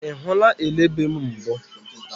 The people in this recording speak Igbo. Ị hụla elebe mbụ?